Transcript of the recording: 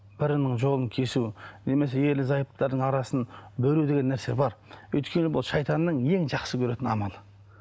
бірінің жолын кесу немесе ерлі зайыптылардың арасын бөлу деген нәрсе бар өйткені бұл шайтанның ең жақсы көретін амалы